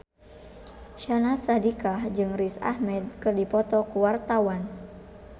Syahnaz Sadiqah jeung Riz Ahmed keur dipoto ku wartawan